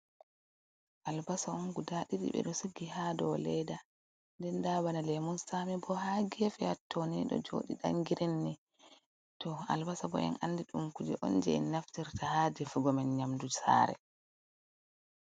Albasa on guda ɗiɗi, ɓe ɗo sugi ha dou leda. Nden nda bana lemun tsaami bo ha gefe hattoni, ɗo jooɗi ɗan girin ni. To albasa bo en andi ɗum kuje on jei naftirta ha defungo men nyamdu sare.